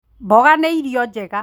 Mboga nĩ irio njega